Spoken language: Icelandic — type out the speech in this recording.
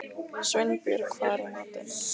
Sveinbjörg, hvað er í matinn?